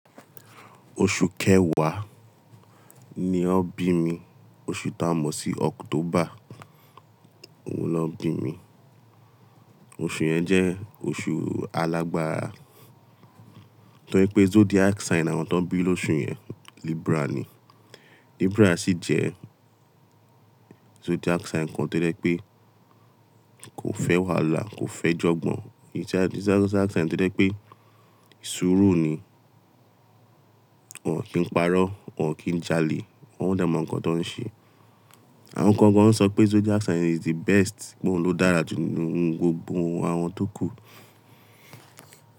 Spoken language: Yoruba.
Oṣù kẹwàá ni wọ́n bí mi, oṣù tá mọ̀ sí october òun lọ bí mi. Oṣù yẹn jẹ́ oṣù alágbára, torí pé zodiac sign àwọn tan bí lóṣù yẹn Libra ni. Libra sì jẹ́ zodiac sign kan tí ó jẹ́ pé kò fẹ́ wàhálà, kò fẹ́ jọ̀gbọ̀n. Zodiac sign tí ó jẹ́ pé súùrú ni. Wọn kìí parọ́, wọn kìí jalè, wọn dẹ mó ǹkan tó ń ṣe. Àwọn kan gan an sọ pé zodiac sign is the best, pé òun ló dára jù nínú gbogbo àwọn tó kù.